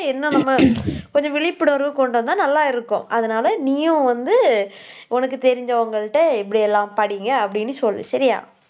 என்ன நம்ம கொஞ்சம் விழிப்புணர்வு கொண்டு வந்தா நல்லா இருக்கும். அதனால நீயும் வந்து உனக்கு தெரிஞ்சவங்கள்ட்ட இப்படி எல்லாம் படிங்க அப்படின்னு சொல்லு சரியா